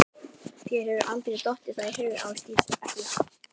Þér hefur aldrei dottið það í hug Ásdís, ekki.